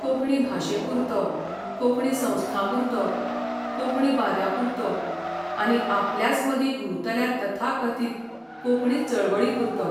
कोंकणी भाशेपुरतो, कोंकणी संस्थांपुरतो, कोंकणी बाद्यांपुरतो आनी आपल्याच मदीं घुंवतल्या तथाकथीत कोंकणी चळवळीपुरतो.